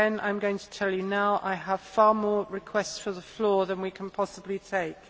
Again I am going to tell you now that I have far more requests for the floor than we can possibly take.